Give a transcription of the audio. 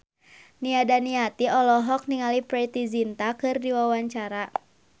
Nia Daniati olohok ningali Preity Zinta keur diwawancara